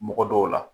Mɔgɔ dɔw la